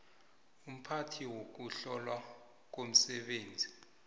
umphathi wokuhlolwa komsebenzi